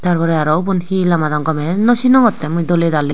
tar porey woban he lamadon gomey yo no sinongottey doley daley.